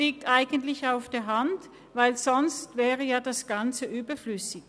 Das liegt eigentlich auf der Hand, denn sonst wäre ja das Ganze überflüssig.